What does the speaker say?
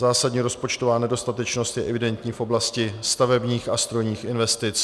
Zásadní rozpočtová nedostatečnost je evidentní v oblasti stavebních a strojních investic.